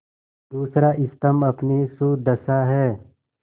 दूसरा स्तम्भ अपनी सुदशा है